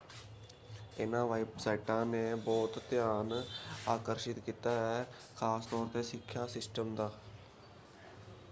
ਇਹਨਾਂ ਵੈੱਬਸਾਈਟਾਂ ਨੇ ਬਹੁਤ ਧਿਆਨ ਆਕਰਸ਼ਿਤ ਕੀਤਾ ਹੈ ਖ਼ਾਸ ਤੌਰ 'ਤੇ ਸਿੱਖਿਆ ਸਿਸਟਮ ਦਾ।